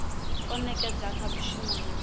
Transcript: o nekedzwa kha muvhuso na